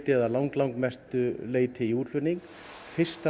eða langmestu leyti í útflutning fyrsta